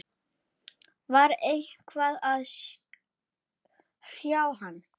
Var eitthvað að hrjá hann?